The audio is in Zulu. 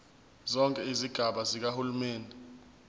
zonke izigaba zikahulumeni